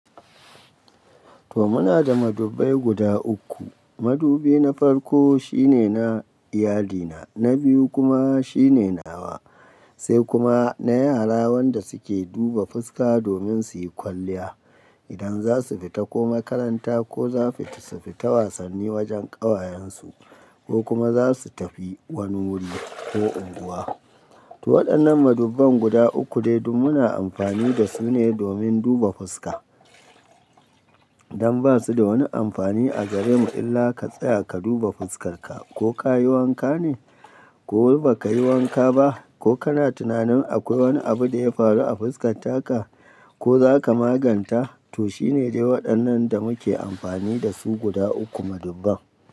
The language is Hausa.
To muna da madubai guda uku. Madubi na farko shine na iyalina, na biyu kuma shine nawa, sai kuma na yara wanda suke duba fuska domin suyi kwalliya idan za su fita ko makaranta ko za su fita wasanni wajen ƙawayen su ko kuma za su tafi wani wuri ko unguwa. To waɗannan madubban guda uku dai duk muna amfani da su ne domin duba fuska. Dan ba su da wani amfani a gare mu illa ka tsaya ka duba fuskar ka ko ka yi wanka ne ko ba ka yi wanka ba ko kana tunanin akwai wani abu da ya faru a fuskar taka ko za ka maganta, to shine dai waɗannan da muke amfani da su guda uku madubban.